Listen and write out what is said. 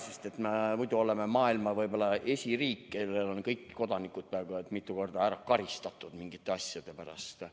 Sest me muidu oleme võib-olla maailma esiriik selle poolest, et meil kõik kodanikud on peaaegu mitu korda ära karistatud mingite asjade pärast.